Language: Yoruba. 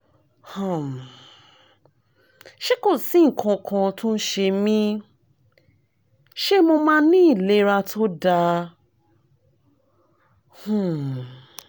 um ṣé kò sí nǹkan kan tó ń ṣe mí? ṣé mo máa ní ìlera tó dáa? um